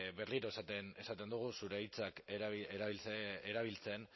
berriro esaten dugu zure hitzak erabiltzen